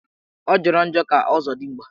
Ọ jọrọ njọ ka ọzọdigba